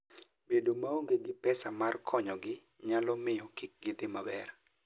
Bedo maonge gi pesa mar konyogi nyalo miyo kik gidhi maber.